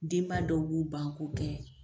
Denba dɔw b'u ban k'o kɛ.